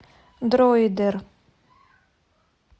дройдер